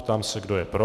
Ptám se, kdo je pro.